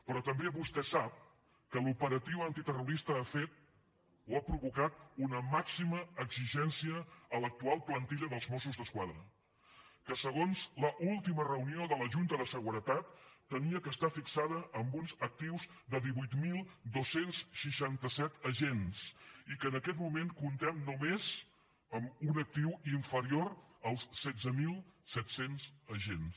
però també vostè sap que l’operatiu antiterrorista ha fet o ha provocat una màxima exigència a l’actual plantilla dels mossos d’esquadra que segons l’última reunió de la junta de seguretat havia d’estar fixada amb uns actius de divuit mil dos cents i seixanta set agents i que en aquest moment comptem només amb un actiu inferior als setze mil set cents agents